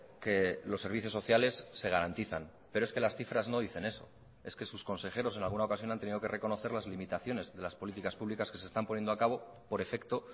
que los servicios sociales se garantizan pero es que las cifras no dicen eso es que sus consejeros en alguna ocasión han tenido que reconocer las limitaciones de las políticas públicas que se están poniendo a cabo por efecto